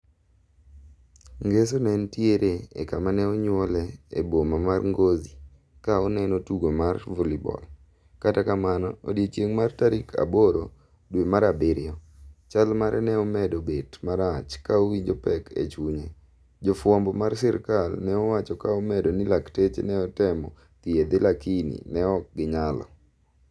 ngeso ne en tiere e kama ne onyuole e boma mar Ngozi ka oneno tugo mar valleyball. kata kamano odiechieng' mar tarik 8 dwe mar abirio. chal mare ne omedo bet marach ka owinjo pek e chunye. Jafwambo mar sirikal ne owacho ka omedo ni lakteche ne otemo thiedhe lakini ne ok ginyalo.